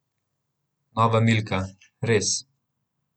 Nova Milka, res!